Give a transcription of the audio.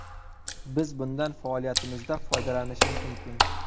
Biz bundan faoliyatimizda foydalanishimiz mumkin.